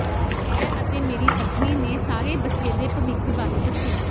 ਮੈਂ ਅਤੇ ਮੇਰੀ ਪਤਨੀ ਨੇ ਸਾਡੇ ਬੱਚੇ ਦੇ ਭਵਿੱਖ ਬਾਰੇ ਦੱਸਿਆ